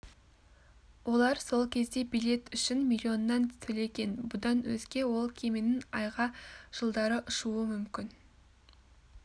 олар сол кезде билет үшін миллионнан төлеген бұдан өзге ол кеменің айға жылдары ұшуы мүмкін